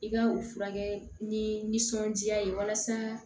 I ka u furakɛ nisɔndiya ye walasa